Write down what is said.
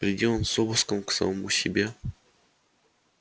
приди он с обыском к самому себе